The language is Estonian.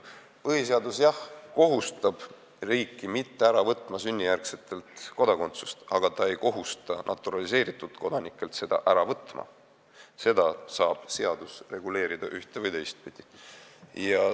Jah, põhiseadus kohustab riiki sünnijärgsetelt kodanikelt kodakondsust mitte ära võtma, aga ta ei kohusta naturaliseeritud kodanikelt seda ära võtma – seda saab seadus reguleerida ühte- või teistpidi.